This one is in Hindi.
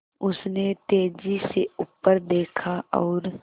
उसने तेज़ी से ऊपर देखा और